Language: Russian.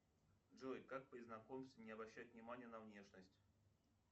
джой как при знакомстве не обращать внимание на внешность